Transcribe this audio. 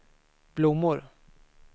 blommor